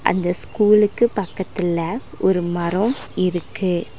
அந்த ஸ்கூலுக்கு பக்கத்துல ஒரு மரோம் இருக்கு.